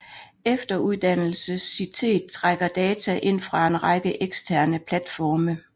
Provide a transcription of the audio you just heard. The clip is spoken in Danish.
Efteruddannelsessitet trækker data ind fra en række eksterne platforme